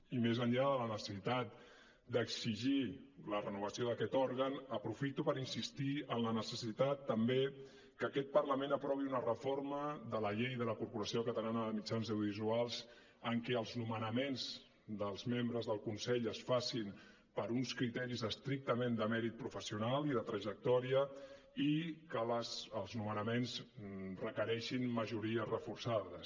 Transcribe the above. i més enllà de la necessitat d’exigir la renovació d’aquest òrgan aprofito per insistir en la necessitat també que aquest parlament aprovi una reforma de la llei de la corporació catalana de mitjans audiovisuals en què els nomenaments dels membres del consell es facin per uns criteris estrictament de mèrit professional i de trajectòria i que els nomenaments requereixin majories reforçades